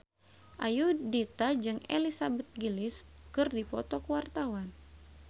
Ayudhita jeung Elizabeth Gillies keur dipoto ku wartawan